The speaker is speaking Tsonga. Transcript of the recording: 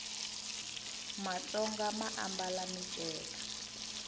matsonga ma ambala miceka